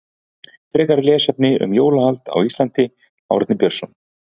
Frekara lesefni um jólahald á Íslandi Árni Björnsson.